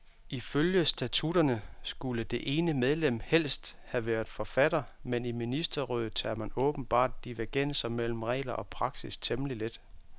Ifølge statutterne skulle det ene medlem helst have været forfatter, men i ministerrådet tager man åbenbart divergenser mellem regler og praksis temmelig let.